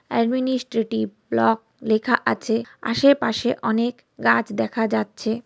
Administrative block লেখা আছে। আশে পাশে অনেক গাছ দেখা যাচ্ছে।